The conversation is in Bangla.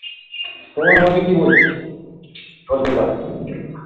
তোমার মতে কি বলছে হতে পারে